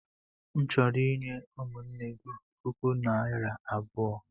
M chọrọ inye ụmụnne gị puku naira abụo.